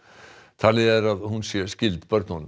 talið er að hún sé skyld börnunum